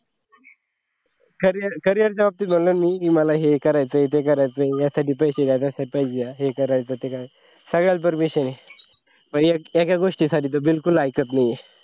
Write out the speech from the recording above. carrier carrier job ची गुलामी हे मला हे करायचे ते करायचं यासाठी पैसे द्या पैसे द्या हे करायचे ते करायचे सगळ्याला permission आहे पण एका गोष्टीसाठी तर बिलकुल ऐकत नाही.